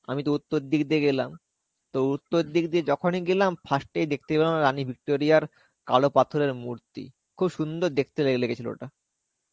আমিতো উত্তর দিক দিয়ে গেলাম. তা উত্তর দিক দিয়ে যখনই গেলাম 1st এই দেখতে পেলাম রানী Victoria র কালো পাথরের মূর্তি. খুব সুন্দর দেখতে লে~ লেগেছিলো ওটা.